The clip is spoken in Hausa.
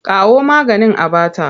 Kawo maganin a ba ta!